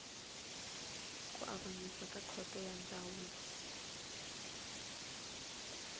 avanyisa ka khoto ya ndzhavuko